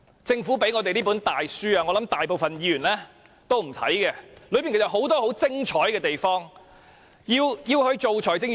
政府給我們的這本大書，我想大部分議員也不會看，但當中其實有很多很精彩的地方。